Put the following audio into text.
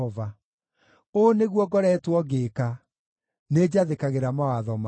Ũũ nĩguo ngoretwo ngĩĩka: nĩnjathĩkagĩra mawatho maku.